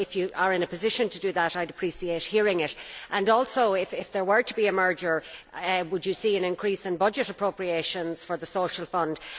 So, if you are in a position to do that, I would appreciate hearing it, and also, if there were to be a merger, would you see an increase in budgetary appropriations for the Social Fund?